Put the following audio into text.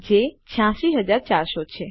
જે 86400 છે